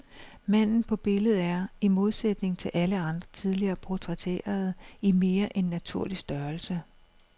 Manden på billedet er, i modsætning til alle andre tidligere portrætterede, i mere end naturlig størrelse.